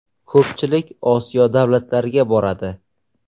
Ko‘pchilik Osiyo davlatlariga boradi.